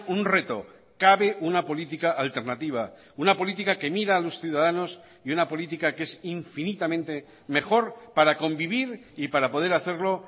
un reto cabe una política alternativa una política que mira a los ciudadanos y una política que es infinitamente mejor para convivir y para poder hacerlo